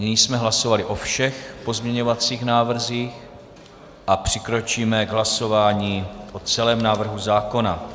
Nyní jsme hlasovali o všech pozměňovacích návrzích a přikročíme k hlasování o celém návrhu zákona.